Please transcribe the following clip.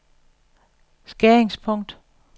skæringspunkt